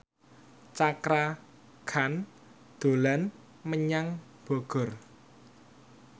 Cakra Khan dolan menyang Bogor